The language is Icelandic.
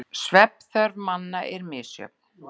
Svefnþörf manna er misjöfn.